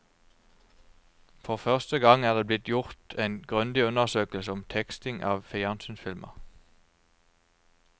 For første gang er det blitt gjort en grundig undersøkelse om teksting av fjernsynsfilmer.